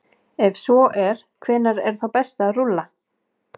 Ef svo er, hvenær er þá best að rúlla?